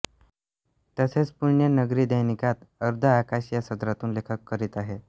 तसेच पुण्यनगरी दैनिकात अर्धे आकाश या सदरातून लेखन करीत आहेत